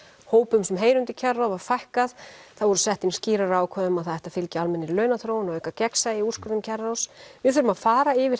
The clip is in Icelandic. hópum sem heyra undir kjararáð var fækkað það voru sett inn skýrari ákvæði um að það ætti að fylgja almennri launaþróun og auka gegnsæi í úrskurðum kjararáðs við þurfum að fara yfir